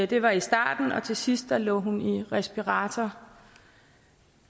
det var i starten og til sidst lå hun i respirator